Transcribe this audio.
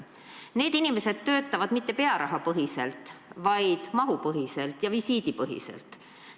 Need inimesed ei tööta mitte pearahapõhiselt, vaid mahu- ja visiidipõhiselt.